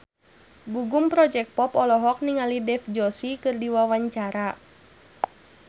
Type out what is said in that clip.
Gugum Project Pop olohok ningali Dev Joshi keur diwawancara